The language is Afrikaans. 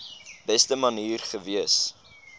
beste manier gewees